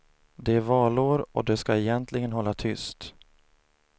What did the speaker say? Det är valår och de skall egentligen hålla tyst.